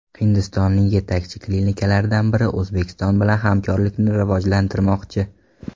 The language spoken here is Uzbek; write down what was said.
Hindistonning yetakchi klinikalaridan biri O‘zbekiston bilan hamkorlikni rivojlantirmoqchi.